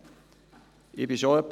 Meine Fraktion sieht es genauso.